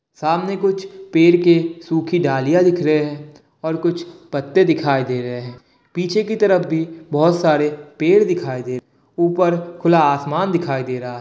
सामने कुछ पेड़ के सुखी डालियां दिख रहे है और कुछ पत्ते दिखाई दे रहे है पीछे की तरफ भी बहुत सारे पेड़ दिखाई दे रहे है ऊपर खुला आसमान दिखाई दे रहा है।